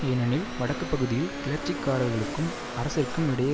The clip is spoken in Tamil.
ஏனெனில் வடக்கு பகுதியில் கிளர்ச்சிக்காரர்களுக்கும் அரசிற்கும் இடையே